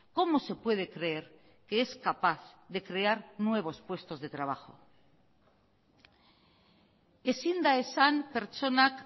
cómo se puede creer que es capaz de crear nuevos puestos de trabajo ezin da esan pertsonak